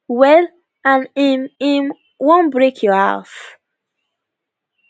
well and im im wan break your house